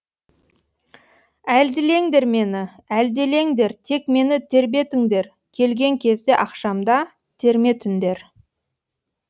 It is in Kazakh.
әлдилеңдер мені әлдилеңдер тек мені тербетіңдер келген кезде ақшамда терме түндер